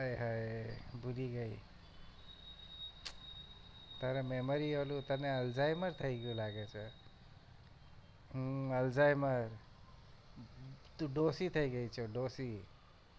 અય હય ભૂલી ગઈ તારા memory ઓલું તને alzheimer થઇ ગયું લાગે છે ઉહ alzheimer તું ડોસી થઇ ગયી છો ડોસી